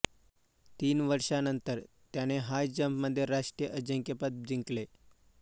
तीन वर्षांनंतर त्याने हाय जंपमध्ये राष्ट्रीय अजिंक्यपद जिंकले